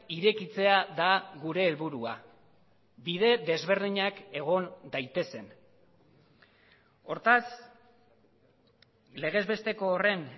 irekitzea da gure helburua bide desberdinak egon daitezen hortaz legez besteko horren